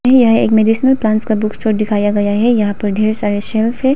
यह एक medicinal plant का बुक स्टोर दिखाया गया है यहां पर ढेर सारे शेल्फ है।